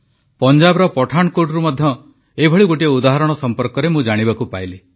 ପଞ୍ଜାବର ପଠାନକୋଟରୁ ମଧ୍ୟ ଏଭଳି ଗୋଟିଏ ଉଦାହରଣ ସମ୍ପର୍କରେ ମୁଁ ଜାଣିବାକୁ ପାଇଲି